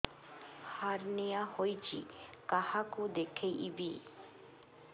hernia ହୋଇଛି କାହାକୁ ଦେଖେଇବି